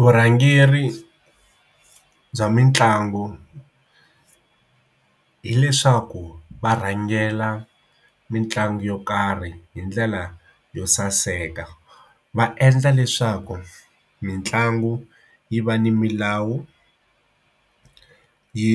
Vurhangeri bya mitlangu hileswaku varhangela mitlangu yo karhi hi ndlela yo saseka va endla leswaku mitlangu yi va ni milawu yi